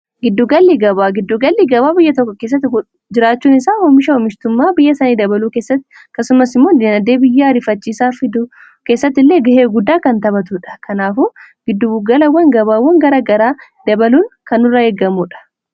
Giddugalli gabaa biyya tokko keessatti jiraachuun isaa hoomisha hoomishtummaa biyya sanii dabaluu keessatti akkasumasimmoo dinagdee biyyaa arifachiisaa fiduu keessatti illee ga'ee guddaa kan taphatudha. Kanaafu gidduugalawwan gabaawwan garagaraa dabaluun kan nurraa eegamuudha.